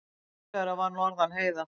Rólegra var norðan heiða.